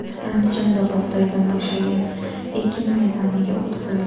Andijonda bug‘doydan bo‘shagan ekin maydoniga o‘t qo‘yildi.